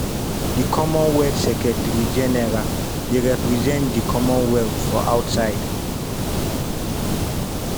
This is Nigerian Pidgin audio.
di commonwealth secretary-general dey represent di commonwealth for outside.